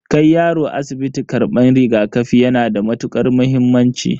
Kai yaro asibiti karban rigakafi yana da matukar muhimmanci.